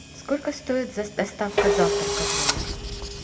сколько стоит доставка завтрака в номер